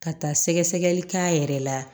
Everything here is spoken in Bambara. Ka taa sɛgɛ sɛgɛli k'a yɛrɛ la